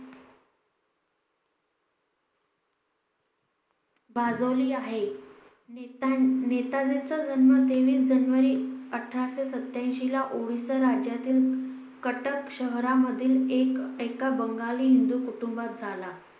भाजवली आहे. नेता नेताजी चा जन्म तेवीस जानेवारी अठराशे सत्यांशी ला ओडिसा राज्यातील कटक शहरांमधील एक एका बंगाली हिंदू कुटुंबात झाला